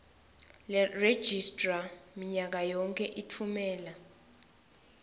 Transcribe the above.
leregistrar minyakayonkhe litfumela